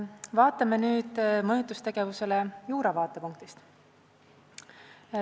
Vaatame nüüd mõjutustegevusele juura vaatepunktist.